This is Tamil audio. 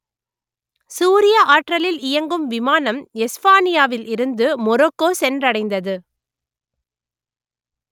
சூரிய ஆற்றலில் இயங்கும் விமானம் எஸ்ஃபானியாவில் இருந்து மொரோக்கோ சென்றடைந்தது